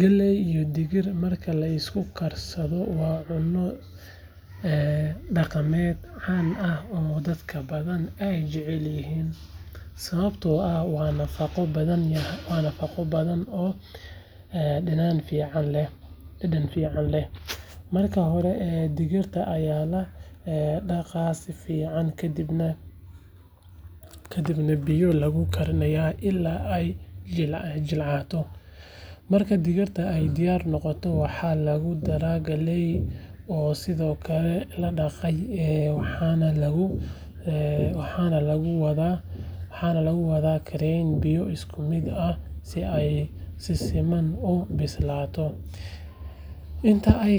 Galley iyo digir marka la isku karsado waa cunno dhaqameed caan ah oo dad badan ay jecel yihiin sababtoo ah waa nafaqo badan oo dhadhan fiican leh. Marka hore digirta ayaa la dhaqaa si fiican kadibna biyo lagu karinayaa ilaa ay jilcato. Marka digirta ay diyaar noqoto waxaa lagu daraa galleyda oo sidoo kale la dhaqay waxaana lagu wada karinayaa biyo isku mid ah si ay si siman u bislaadaan. Inta ay